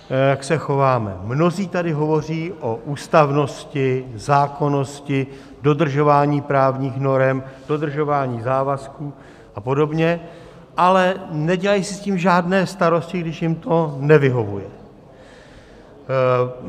Mnozí tady hovoří o ústavnosti, zákonnosti, dodržování právních norem, dodržování závazků a podobně, ale nedělají si s tím žádné starosti, když jim to nevyhovuje.